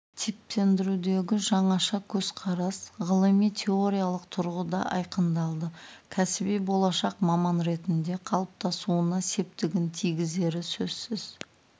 типтендірудегі жаңаша көзқарастар ғылыми теориялық тұрғыда айқындалды кәсіби болашақ маман ретінде қалыптасуына септігін тигізері сөзсіз